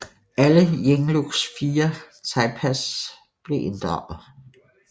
Alle Yinglucks fire thaipas blev inddraget